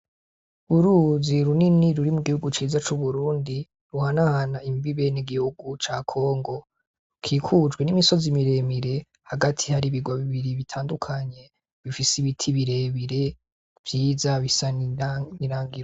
Uruzi runini ruri mu gihugu ciza c'uburundi runahana imbenegihugu ca congo, kikujwe n'imisozi miremire hagati hari ibigobe bibiri bitandukanye bifise ibiti birebire vyiza bisa n'irangi.